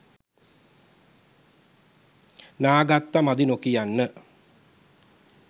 නා ගත්ත මදි නොකියන්න.